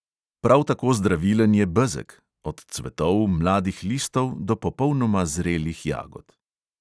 Prav tako zdravilen je bezeg (od cvetov, mladih listov do popolnoma zrelih jagod).